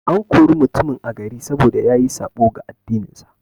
An kore mutumin a gari, saboda yayi saɓo ga addinin sa.